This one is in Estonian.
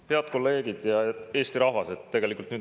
Head kolleegid ja Eesti rahvas!